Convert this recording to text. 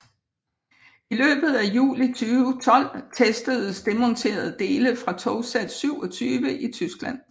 I løbet af juli 2012 testedes demonterede dele fra togsæt 27 i Tyskland